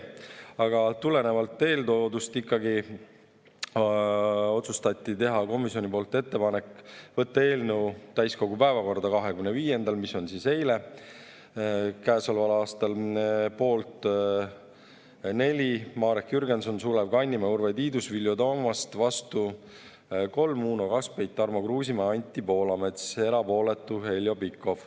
Aga tulenevalt eeltoodust ikkagi otsustati teha komisjoni poolt ettepanek võtta eelnõu täiskogu päevakorda 25. jaanuaril käesoleval aastal, mis oli siis eile .